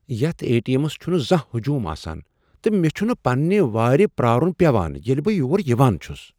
یتھ A T Ms چھٗنہٕ زانہہ ہجوم آسان تہٕ مے٘ چھٗنہٕ پننہِ وارِ پرارُن پیوان ییلہِ بہٕ یور یوان چھس ۔